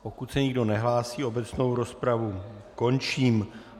Pokud se nikdo nehlásí, obecnou rozpravu končím.